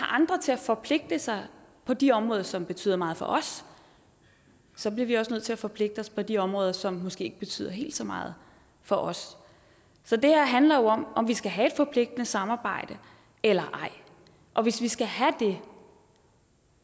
andre til at forpligte sig på de områder som betyder meget for os så bliver vi også nødt til at forpligte os på de områder som måske ikke betyder helt så meget for os så det her handler jo om om vi skal have et forpligtende samarbejde eller ej og hvis vi skal have det